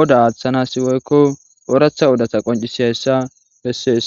oda aaththanasiwoykko ooratha odatha qoncisi hayssa bessees